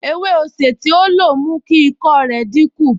Ewé osè tí ó lo mú kí ikọ́ rẹ̀ dínkù